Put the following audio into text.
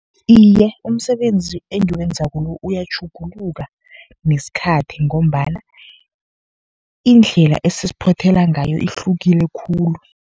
Iye, umsebenzi engiwenzako lo uyatjhuguluka nesikhathi, ngombana indlela esesiphothela ngayo ihlukile khulu.